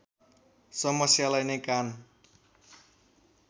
समस्यालाई नै कान